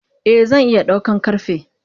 Eh zan iya daukan karfe.